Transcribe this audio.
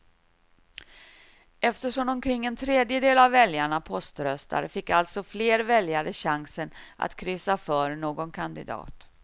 Eftersom omkring en tredjedel av väljarna poströstar fick alltså fler väljare chansen att kryssa för någon kandidat.